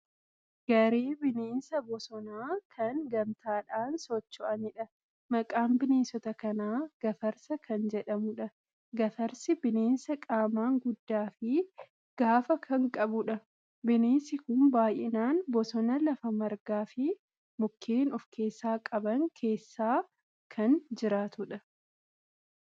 Garee bineensa bosonaa kan gamtaadhaan socho'anidha. Maqaan bineensota kanaa Gafarsa kan jedhamudha. Gafarsi bineensa qaamaan guddaa fi gaafa kan qabudha. Bineensi kun baay'inaan bosona lafa margaa fi mukeen ofkeessaa qaban keessa kan jiraatanidha.